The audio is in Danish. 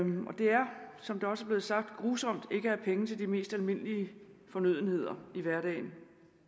som det også er blevet sagt grusomt ikke at have penge til de mest almindelige fornødenheder i hverdagen